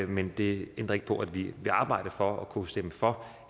men det ændrer ikke på at vi vil arbejde for at kunne stemme for